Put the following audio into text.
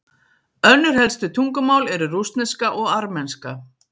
Önnur helstu tungumál eru rússneska og armenska.